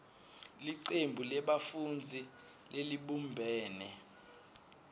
licembu lebafundzi lelibumbene